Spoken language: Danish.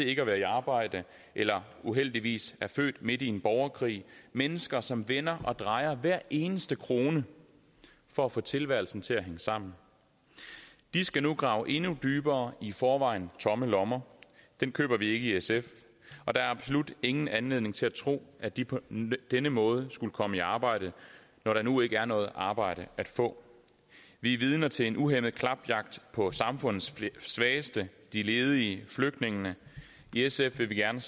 ikke er i arbejde eller uheldigvis er født midt i en borgerkrig det mennesker som vender og drejer hver eneste krone for at få tilværelsen til at hænge sammen de skal nu grave endnu dybere i forvejen tomme lommer den køber vi ikke i sf og der er absolut ingen anledning til at tro at de på denne måde skulle komme i arbejde når der nu ikke er noget arbejde at få vi er vidner til en uhæmmet klapjagt på samfundets svageste de ledige flygtningene i sf vil vi gerne